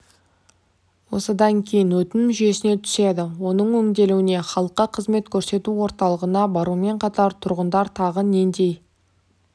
осыдан кейін өтінім жүйесіне түседі оның өңделуіне халыққа қызмет көрсету орталығына барумен қатар тұрғындар тағы нендей